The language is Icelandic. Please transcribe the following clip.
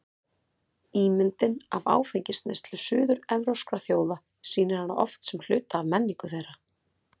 Ímyndin af áfengisneyslu suður-evrópskra þjóða sýnir hana oft sem hluta af menningu þeirra.